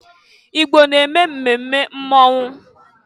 Igbo na-eme mmemme mmọnwụ.